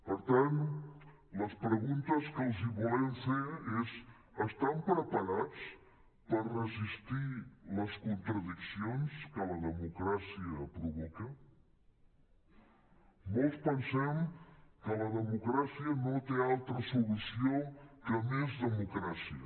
per tant les preguntes que els volem fer és estan preparats per resistir les contradiccions que la democràcia provoca molts pensem que la democràcia no té altra solució que més democràcia